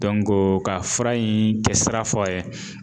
ka fura in kɛsira fɔ a ye